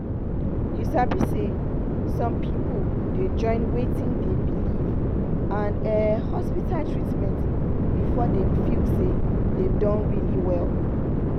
you sabi say some people dey join wetin dey believe and ehh hospital treatment before dem feel say dem don really well.